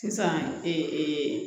Sisan